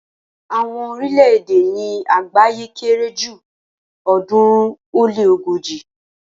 Àwọn orílẹ̀-èdè ni àgbáyé kere ju ọ̀ọ́dúnrún ó lé ogoji